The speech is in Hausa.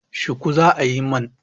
Shuku za a yi mun.